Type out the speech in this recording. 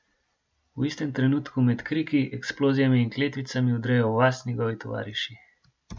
V istem trenutku med kriki, eksplozijami in kletvicami vdrejo v vas njegovi tovariši.